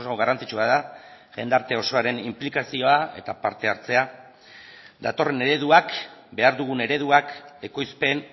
garrantzitsua da jendarte osoaren inplikazioa eta parte hartzea datorren ereduak behar dugun ereduak ekoizpen